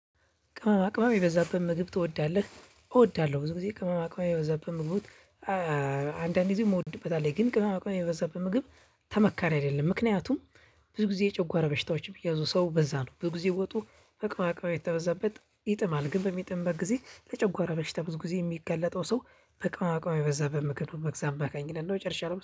ቅመማ ቅመማ የበዛበት ምግብ ትወዳለህ እወዳለሁ ብዙ ጊዜ ቅመማ ቅመማ የበዛብህ ምግቡን። አንዳንድ ጊዜ ምወድበት አለ ግን ቅመማ ቅመማ የበዛበት ምግብ ተመካሪ አይደለም ምክንያቱም። ብዙ ጊዜ የጨጓራ በሽታዎች የሚያዙ ሰው በዛ ነው። በጊዜ ወጡ ቅመማ ቅመማ የተበዛበት ይጥማል ግን በሚጥምበት ጊዜ ለጨጓራ በሽታ ብዙ ጊዜ የሚገለጠው ሰው። በቅመማ ቅመማ የበዛ ምግብ ነው በዛ አማካኝነት ነው ጨርሻለሁ